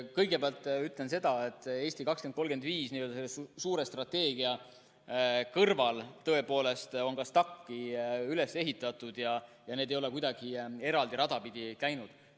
Kõigepealt ütlen seda, et "Eesti 2035", selle suure strateegia kõrval on tõepoolest ka STAK‑i üles ehitatud ja need ei ole kuidagi eraldi rada pidi käinud.